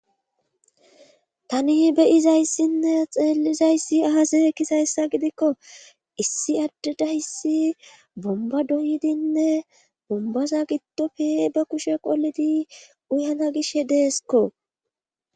tani beyizayssinne xeellizayssi ahase ekkizayssa gidikko issi addeda hissi bomba doydinne bombaza giddofi ba kushe qoledi uyana gish deesko